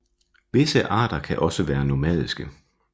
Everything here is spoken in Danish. Visse arter kan også være nomadiske